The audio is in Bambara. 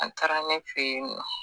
An taara ne fɛ yen nɔ